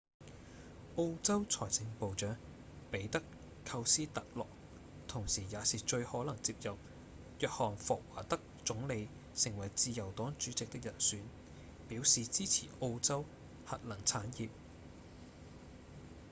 澳洲財政部長彼德‧寇斯特洛同時也是最可能接任約翰‧霍華德總理成為自由黨主席的人選表示支持澳洲核能產業